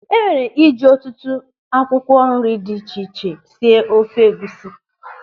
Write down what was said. E nwere iji ọtụtụ akwụkwọ nri dị iche iche sie ofe egwusi.